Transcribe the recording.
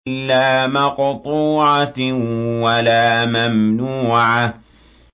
لَّا مَقْطُوعَةٍ وَلَا مَمْنُوعَةٍ